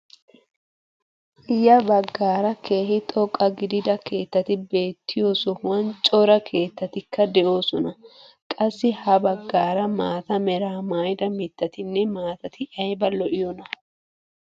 Ya baggaara keehi xoqqa gidida keettati beettiyoo sohuwaan cora keettatikka de'oosona. qassi ha baggaara maata meraa maayida mittatinne maatati ayba lo"iyoonaa!